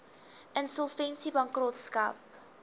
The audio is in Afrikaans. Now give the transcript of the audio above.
insolvensiebankrotskap